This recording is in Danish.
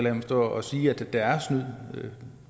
at stå og sige at der er snyd